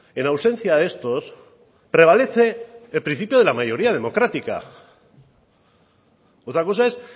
en ausencia de estos prevalece el principio de la mayoría democrática otra cosa es